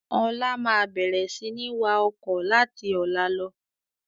Ọlá máa bẹ̀rẹ̀ sini wá ọkọ̀ láti ọ̀la lọ.